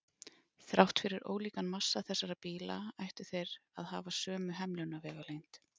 Þrátt fyrir ólíkan massa þessara bíla ættu þeir að að hafa sömu hemlunarvegalengd.